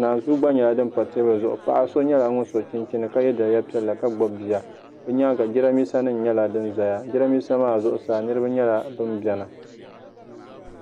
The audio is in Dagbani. naanzuu gba nyɛla din pa teebuli zuɣu paɣa so nyɛla ŋun so chinchini ka yɛ liiga piɛlli ka gbubi bia bi nyaanga jiranbiisa nim nyɛla din ʒɛya jiranbiisa maa zuɣusaa niraba nyɛla bin biɛni